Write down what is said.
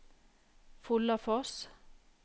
Follafoss